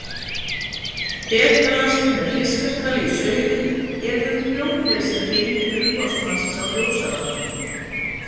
Betalast með fiskatali í sauðum eður prjónlesi heim til umboðsmannsins á Ljósavatni.